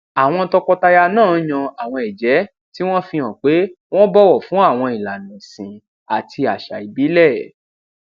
àwọn tọkọtaya náà yan àwọn èjé tí wón fi hàn pé wón bòwò fún àwọn ìlànà ẹsìn àti àṣà ìbílè